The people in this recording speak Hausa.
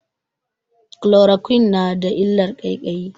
Chloroquine na da illar ƙaiƙayi.